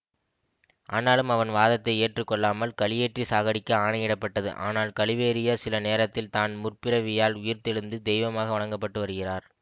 ஆனாலும் அவன் வாதத்தை ஏற்று கொள்ளாமல் கழுயேற்றி சாகடிக்க ஆணை இடபட்டது ஆனால் கழுவேறிய சில நேரத்தில் தான் முற்பிறவியால் உயிர்த்தெழுந்து தெய்வமாக வணங்கபட்டு வருகிறார்